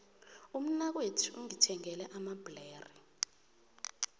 umnakwethu ungithengele amabhlere